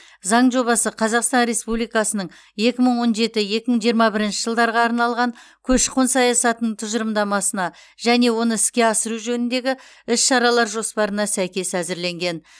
заң жобасы қазақстан республикасының екі мың он жеті екі мың жиырма бірінші жылдарға арналған көші қон саясатының тұжырымдамасына және оны іске асыру жөніндегі іс шаралар жоспарына сәйкес әзірленген